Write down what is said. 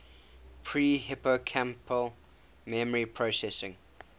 pre hippocampal memory processing